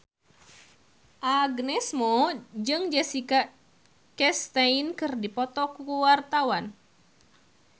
Agnes Mo jeung Jessica Chastain keur dipoto ku wartawan